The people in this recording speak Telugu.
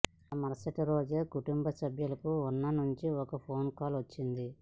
ఆ మరుసటి రోజే కుటుంబ సభ్యులకు ఉన నుంచి ఒక ఫోన్ కాల్ వచ్చింది